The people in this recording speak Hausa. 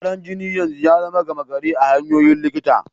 Karan jini yanzu ya zama gama gari a hanyoyin likita.